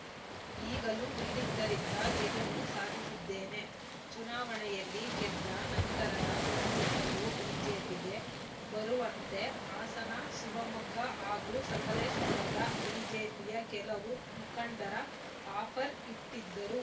ಈಗಲೂ ನೀಡಿದ್ದರಿಂದ ಗೆಲುವು ಸಾಧಿಸಿದ್ದೇನೆ ಚುನಾವಣೆಯಲ್ಲಿ ಗೆದ್ದ ನಂತರದ ದಿನದಿಂದಲೂ ಬಿಜೆಪಿಗೆ ಬರುವಂತೆ ಹಾಸನ ಶಿವಮೊಗ್ಗ ಹಾಗೂ ಸಕಲೇಶಪುರದ ಬಿಜೆಪಿಯ ಕೆಲವು ಮುಖಂಡರು ಆಫರ್‌ ಇಟ್ಟಿದ್ದರು